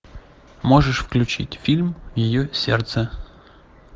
можешь включить фильм ее сердце